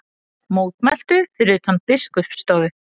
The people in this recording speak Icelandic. Mótmæltu fyrir utan Biskupsstofu